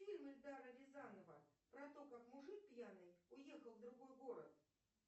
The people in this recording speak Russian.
фильм эльдара рязанова про то как мужик пьяный уехал в другой город